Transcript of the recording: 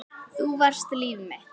Þú varst líf mitt.